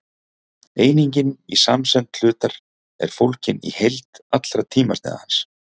einingin í samsemd hlutar er fólgin í heild allra tímasneiða hans